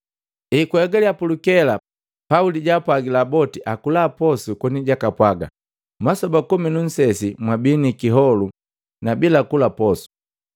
Ekwahegaliya pulukela, Pauli jaapwagila boti akula posu koni jakapwaga, “Masoba komi nu nsesi mwabi ni kiholu na bila kula posu.